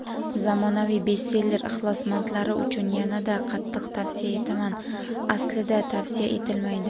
Zamonaviy "bestseller" ixlosmandlari uchun yanada qattiq tavsiya etaman (Aslida tavsiya etilmaydi.